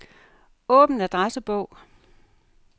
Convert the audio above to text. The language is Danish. Åbn adressebog.